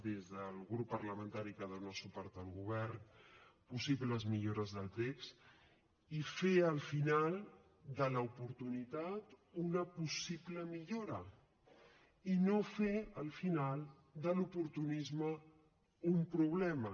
des del grup parlamentari que dona suport al govern possibles millores del text i fer al final de l’oportunitat una possible millora i no fer al final de l’oportunisme un problema